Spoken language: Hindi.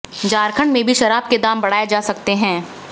झारखंड में भी शराब के दाम बढ़ाए जा सकते हैं